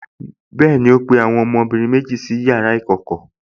Bẹ́ẹ̀ni, ó pe àwọn ọmọbìnrin méjèèjì sí yàrá ìjókòó